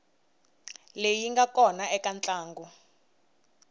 leyi nga kona eka ntlangu